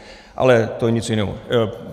Ale to je něco jiného.